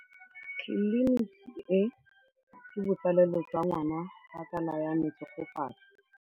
Tleliniki e, ke botsalêlô jwa ngwana wa tsala ya me Tshegofatso.